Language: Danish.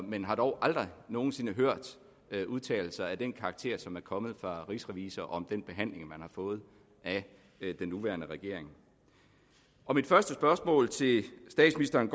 men har dog aldrig nogen sinde hørt udtalelser af den karakter som er kommet fra rigsrevisor om den behandling man har fået af den nuværende regering mit første spørgsmål til statsministeren